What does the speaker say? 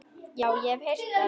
Já, ég hef heyrt það.